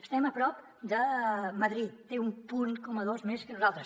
estem a prop de madrid té un punt coma dos més que nosaltres